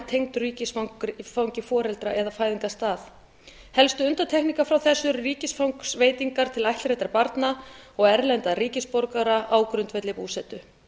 tengdur ríkisfangi foreldra eða fæðingarstað helstu undantekningar frá þessu eru ríkisfangsveitingar til ættleiddra barna og erlendra ríkisborgara á grundvelli búsetu